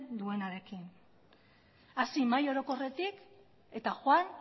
duenarekin hasi mahai orokorretik eta joan